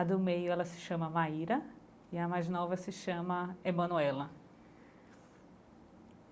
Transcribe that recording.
A do meio ela se chama Maíra, e a mais nova se chama Emanuela.